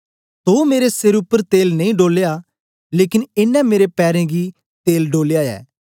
तो मेरे सेर उपर तेल नेई डोलया लेकन एनें मेरे पैरें गी तेल डोलया ऐ